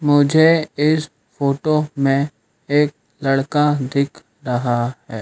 मुझे इस फोटो में एक लड़का दिख रहा हैं।